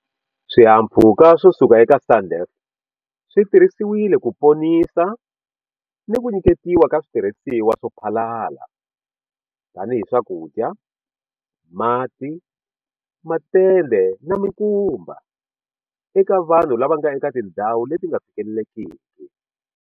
Swihahampfhuka swo suka eka SANDF swi tirhisiwile ku ponisa ni ku nyiketiwa ka switirhisiwa swo phalala - tanihi swakudya, mati, matende na mikumba - eka vanhu lava nga eka tindhawu leti nga fikelelekiki.